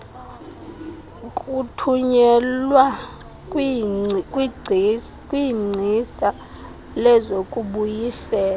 kuthunyelwa kwingcisa lezokubuyisela